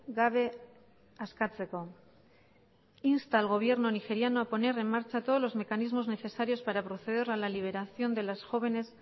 gabe askatzeko insta al gobierno nigeriano a poner en marcha todos los mecanismos necesarios para proceder a la liberación de las jóvenes